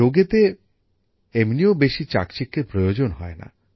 যোগেতে এমনিও বেশি চাকচিক্যের প্রয়োজন হয় না